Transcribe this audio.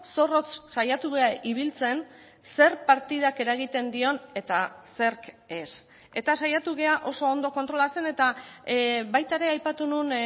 zorrotz saiatu gara ibiltzen zer partidak eragiten dion eta zerk ez eta saiatu gara oso ondo kontrolatzen eta baita ere aipatu nuen